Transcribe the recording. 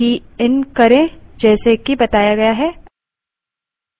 चलिए एक file बनाते हैं और की इन करें जैसे कि बताया गया है